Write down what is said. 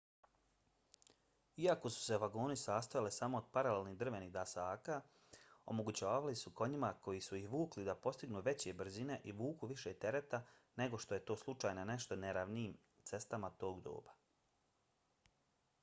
iako su se vagoni sastojali samo od paralelnih drvenih dasaka omogućavali su konjima koji su ih vukli da postignu veće brzine i vuku više tereta nego što je to slučaj na nešto neravnijim cestama tog doba